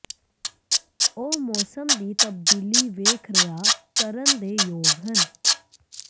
ਉਹ ਮੌਸਮ ਦੀ ਤਬਦੀਲੀ ਵੇਖ ਰਿਹਾ ਕਰਨ ਦੇ ਯੋਗ ਹਨ